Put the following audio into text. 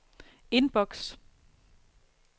indboks